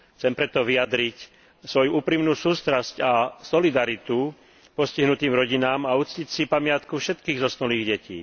Chcem preto vyjadriť svoju úprimnú sústrasť a solidaritu postihnutým rodinám a uctiť si pamiatku všetkých zosnulých detí.